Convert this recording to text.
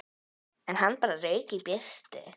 En hann bara rauk í burtu.